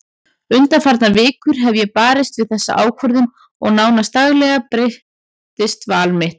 Undanfarnar vikur hef ég barist við þessa ákvörðun og nánast daglega breytist val mitt.